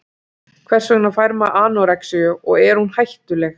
Hvers vegna fær maður anorexíu og er hún hættuleg?